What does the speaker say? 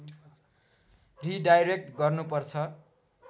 redirect गर्नु पर्छ